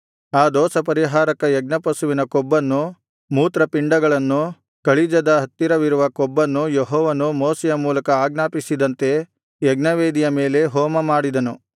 ಆ ದೋಷಪರಿಹಾರಕ ಯಜ್ಞಪಶುವಿನ ಕೊಬ್ಬನ್ನು ಮೂತ್ರಪಿಂಡಗಳನ್ನು ಕಳಿಜದ ಹತ್ತಿರವಿರುವ ಕೊಬ್ಬನ್ನು ಯೆಹೋವನು ಮೋಶೆಯ ಮೂಲಕ ಆಜ್ಞಾಪಿಸಿದಂತೆ ಯಜ್ಞವೇದಿಯ ಮೇಲೆ ಹೋಮಮಾಡಿದನು